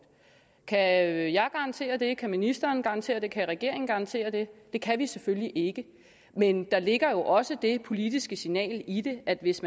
kan jeg garantere det kan ministeren garantere det kan regeringen garantere det det kan vi selvfølgelig ikke men der ligger jo også det politiske signal i det at hvis